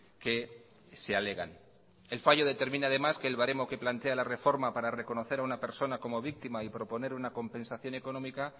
que se alegan el fallo determina además que el baremo que plantea la reforma para reconocer a una persona como víctima y proponer una compensación económica